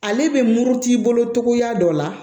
Ale bɛ muruti i bolo togoya dɔ la